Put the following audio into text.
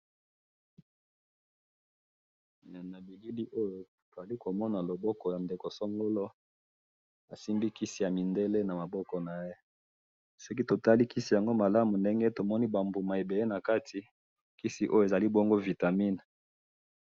Na bilili oyo nazali ko mona loboko ya ndeko songolo asimbi kisi ya mindele na maboko naye. Soki to tali kisi yango malamu ndenge tomoni ba mbuma ebele na kati, kisi ezali bongo vitamine